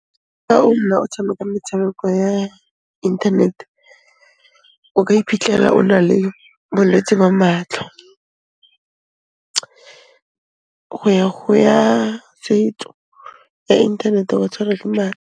Fa o nna o tshameka metshameko ya internet-e, o ka iphitlhela o na le bolwetse ba matlho go ya go ya setso, ya inthanete ba tshwarwa ke .